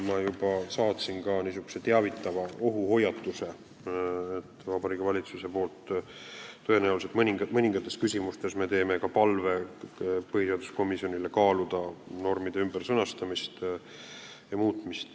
Ma juba saatsin ka teavitava ohuhoiatuse Vabariigi Valitsuse poolt, et tõenäoliselt mõningates küsimustes me esitame põhiseaduskomisjonile palve kaaluda normide ümbersõnastamist ja muutmist.